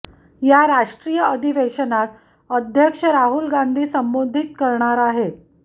या राष्ट्रीय अधिवेशनात अध्यक्ष राहुल गांधी संबोधित करणार आहेत